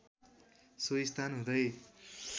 सोही स्थान हुँदै